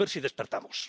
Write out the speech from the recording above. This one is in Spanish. A ver si despertamos.